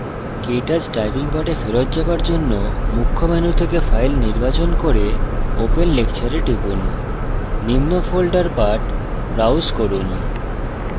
কেto typing পাঠে ফেরত যাওয়ার জন্য মুখ্য menu থেকে file নির্বাচন করে open lecture এ টিপুন নিম্ন folder path browse করুন